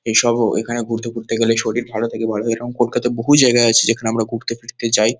এইসবও এখানে ঘুরতে-টুরতে গেলে শরীর ভালো থাকে ভাল এবং এরকম কলকাতায় বহু জায়গা আছে যেখানে আমরা ঘুরতে-ফিরতে যাই।